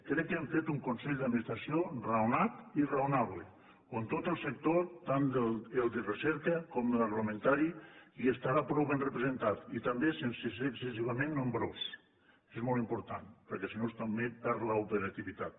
crec que hem fet un consell d’administració raonat i raonable on tot el sector tant el de recerca com l’agroalimentari hi estarà prou ben representat i també sense ser excessivament nombrós això és molt important perquè si no també perd l’operativitat